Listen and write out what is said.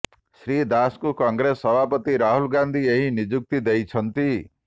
ଶ୍ରୀ ଦାସଙ୍କୁ କଂଗ୍ରେସ ସଭାପତି ରାହୁଲ ଗାନ୍ଧୀ ଏହି ନିଯୁକ୍ତି ଦେଇଛନ୍ତିି